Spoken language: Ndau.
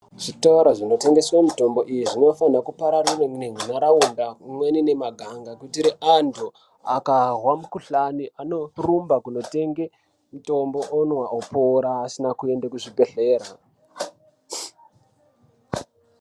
Zvitoro zvinotengeswe mitombo iyi zvinofanira kupararira munharaunda umweni nemaganga kuitire antu akahwa makuhlani anorumba kunotenge mitombo omwa opora asina kuende kuzvibhehlera .